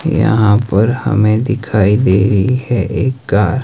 यहां पर हमें दिखाई दे रही है एक कार --